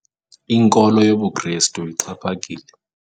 Inkolo yobuKrestu ixhaphakile.